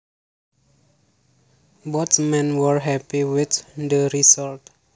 Both men were happy with the results